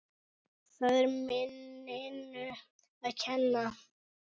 Það er minninu að kenna.